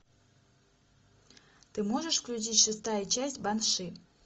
ты можешь включить шестая часть банши